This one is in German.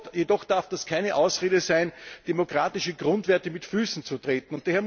Das darf jedoch keine Ausrede sein, demokratische Grundwerte mit Füßen zu treten!